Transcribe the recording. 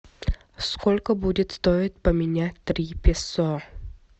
сколько будет стоить поменять три песо